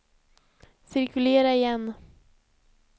cirkulera igen